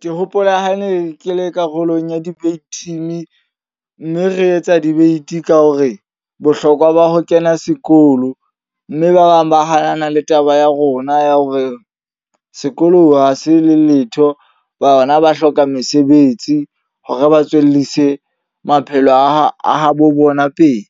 Ke hopola ha ne ke le karolong ya debate team. Mme re etsa debate ka hore bohlokwa ba ho kena sekolo. Mme ba bang ba hanana le taba ya rona ya hore sekolo ha se le letho. Bona ba hloka mesebetsi hore ba tswellise maphelo a bo bona pele.